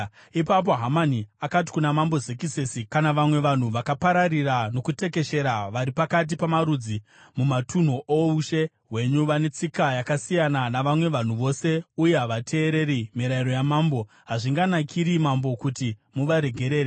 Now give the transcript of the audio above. Ipapo Hamani akati kuna Mambo Zekisesi, “Kuna vamwe vanhu vakapararira nokutekeshera vari pakati pamarudzi mumatunhu oushe hwenyu vane tsika yakasiyana navamwe vanhu vose uye havateereri mirayiro yamambo; hazvinganakiri mambo kuti muvaregerere.